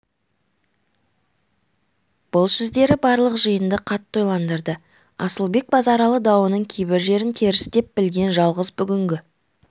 бұл сөздері барлық жиынды қатты ойландырды асылбек базаралы дауының кейбір жерін теріс деп білген жалғыз бүгінгі